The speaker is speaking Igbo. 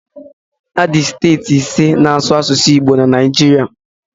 Adị steeti ise na asụ asụsụ Igbo na Naijiria